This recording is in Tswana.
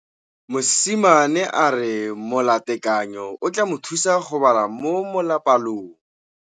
Mosimane a re molatekanyô o tla mo thusa go bala mo molapalong.